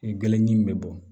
Gele ɲɛ in bɛ bɔ